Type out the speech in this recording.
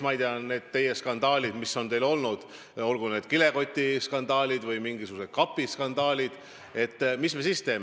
Kui on selline skandaal, mis on teil olnud, olgu kilekotiskandaal või mingisugune kapiskandaal, mis me siis teeme?